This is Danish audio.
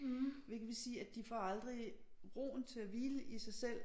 Hvilket vil sige at de får aldrig roen til at hvile i sig selv